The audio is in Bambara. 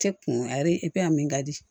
Kɛ kun a ye a min ka di